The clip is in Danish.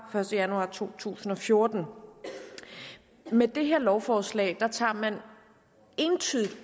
første januar to tusind og fjorten med det her lovforslag tager man entydigt